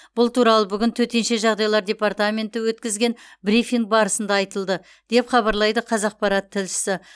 бұл туралы бүгін төтенше жағдайлар департаменті өткізген брифинг барысында айтылды деп хабарлайды қазақпарат тілшісі